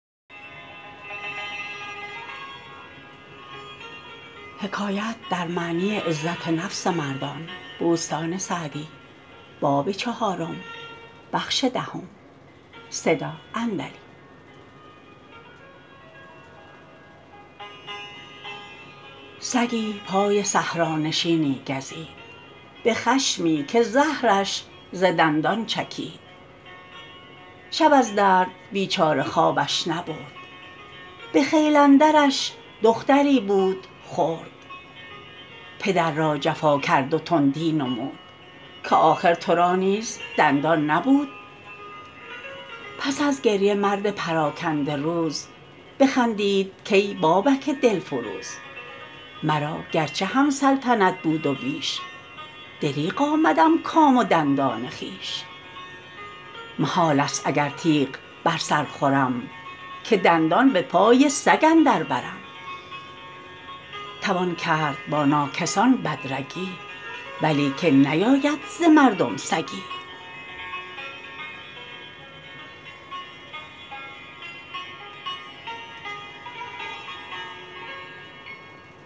سگی پای صحرانشینی گزید به خشمی که زهرش ز دندان چکید شب از درد بیچاره خوابش نبرد به خیل اندرش دختری بود خرد پدر را جفا کرد و تندی نمود که آخر تو را نیز دندان نبود پس از گریه مرد پراکنده روز بخندید کای بابک دلفروز مرا گرچه هم سلطنت بود و بیش دریغ آمدم کام و دندان خویش محال است اگر تیغ بر سر خورم که دندان به پای سگ اندر برم توان کرد با ناکسان بد رگی ولیکن نیاید ز مردم سگی